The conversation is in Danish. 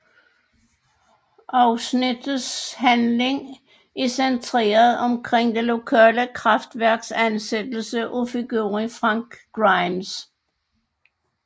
Afsnittets handling er centreret omkring det lokale kraftværks ansættelse af figuren Frank Grimes